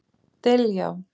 Diljá